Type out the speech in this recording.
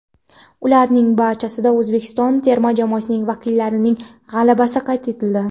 Ularning barchasida O‘zbekiston terma jamoasi vakillarining g‘alabasi qayd etildi.